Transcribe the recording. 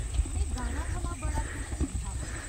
में गाना थमां बड़ा खुश नेईं हा।